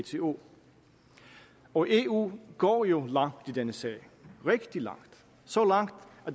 eu og eu går jo langt i denne sag rigtig langt så langt